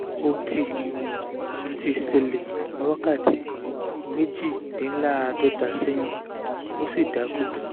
ó ti ti ṣẹlẹ̀ ní wákàtí méjìdínlaadọ́ta sẹ́yìn ó ṣì dákú